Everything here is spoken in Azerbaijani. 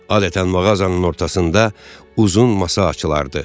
Adətən mağazanın ortasında uzun masa açılardı.